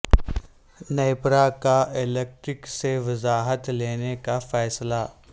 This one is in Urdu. نیپرا کا کے الیکٹرک سے وضاحت لینے کا فیصلہ